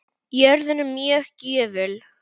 Jörðin er mjög gjöful.